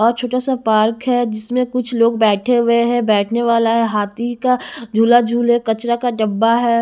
और छोटा सा पार्क है जिसमें कुछ लोग बैठे हुए हैं बैठने वाला है हाथी का झूला झूले कचरा का डब्बा है।